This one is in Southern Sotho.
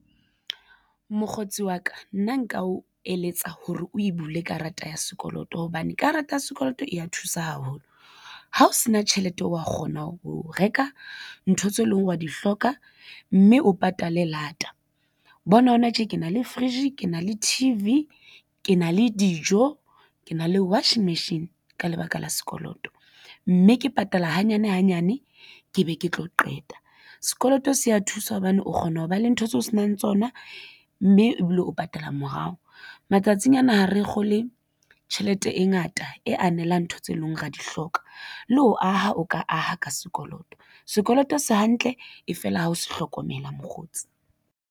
Mokgotsi wa ka nna nka o eletsa hore o e bule karata ya sekoloto hobane karata ya sekoloto e ya thusa haholo. Ha o sena tjhelete o wa kgona ho reka ntho tseo e leng hore wa di hloka mme o patale lata bona hona tje. Ke na le fridge ke na le T_V ke na le dijo ke na le washing machine ka lebaka la sekoloto mme ke patala hanyane hanyane ke be ke tlo qeta. Sekoloto se a thusa hobane o kgona ho ba le ntho tseo se nang tsona mme ebile o patala morao matsatsing ana. Ha re kgole tjhelete e ngata e anela ntho tse leng hore ra di hloka le ho aha o ka aha ka sekoloto, sekoloto se hantle ha fela ha o se hlokomela mokgotsi.